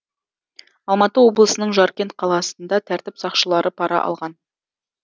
алматы облысының жаркент қаласында тәртіп сақшылары пара алған